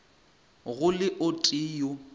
go le o tee yo